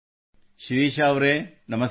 ಶಿರೀಷಾ ಅವರೆ ನಮಸ್ಕಾರ